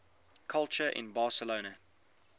culture in barcelona